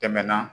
Tɛmɛna